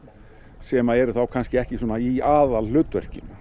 sem eru þá kannski ekki í aðalhlutverki